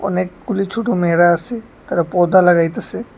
অনেকগুলি ছোট মেয়েরা আসে তারা পর্দা লাগাইতাসে।